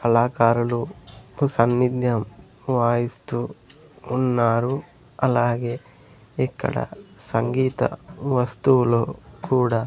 కళాకారులు కు సన్నిద్యం వాయిస్తూ ఉన్నారు అలాగే ఇక్కడ సంగీత వస్తువులు కూడ--